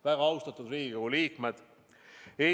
Väga austatud Riigikogu liikmed!